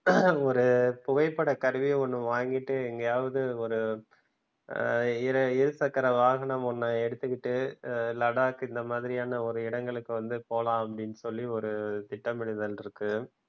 ஒரு புகைப்படக் கருவி ஒன்னு வாங்கிட்டு எங்கையாவது ஒரு ஹம் இரு இரு சக்கர வாகனம் ஒன்னு எடுத்துக்கிட்டு லடாக் இந்த மாதிரியான ஒரு இடங்களுக்கு வந்து போலாம் அப்டின்னுசொல்லி ஒரு திட்டமிடுதல் இருக்கு